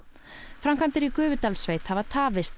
framkvæmdir í Gufudalssveit tefjast